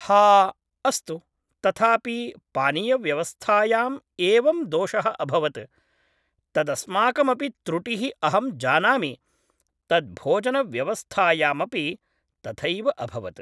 हा अस्तु तथापि पानीयव्यवस्थायाम् एवं दोषः अभवत् तदस्माकमपि त्रुटिः अहं जानामि तद् भोजनव्यवस्थायामपि तथैव अभवत्